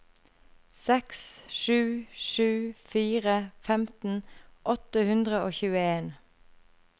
seks sju sju fire femten åtte hundre og tjueen